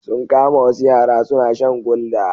Sun kama wasu yara suna shan gulder.